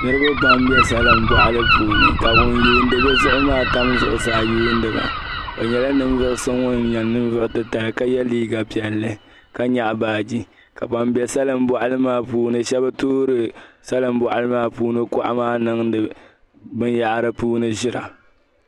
Niriba pam bɛ salinŋ bɔɣili puuni ka yuuni bɛ zuɣu maa tam zuɣusaa yuniba o nyɛla ninvuɣ'so ŋuni nyɛ ninvuɣ'titali ka ye liiga piɛlli ka yaɣi baaje ka ban bɛ salinŋ bɔɣili maa puuni shɛba toori salinŋ puuni kuɣi maa niŋdi binyahiri puuni ʒira